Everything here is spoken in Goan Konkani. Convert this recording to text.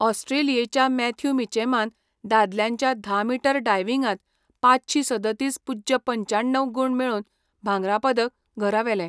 ऑस्ट्रेलियेच्या मॅथ्यू मिचॅमान दादल्यांच्या धा मीटर डायविंगांत पांचशीं सदतीस पूज्य पंच्याण्णव गूण मेळोवन भांगरा पदक घरा व्हेलें.